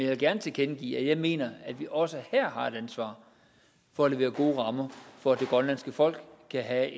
vil gerne tilkendegive at jeg mener at vi også her har et ansvar for at levere gode rammer for at det grønlandske folk skal have